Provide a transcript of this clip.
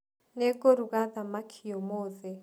Nĩ ngũruga thamaki ũmũthĩ.